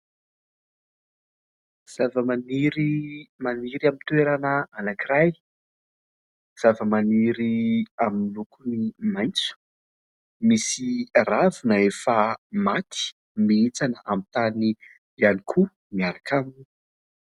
Zava-maniry maniry amin'ny toerana anankiray, zava-maniry amin'ny lokony maitso. Misy ravina efa maty mihintsana amin'ny tany ihany koa miaraka aminy.